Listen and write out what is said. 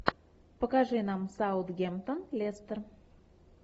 покажи нам саутгемптон лестер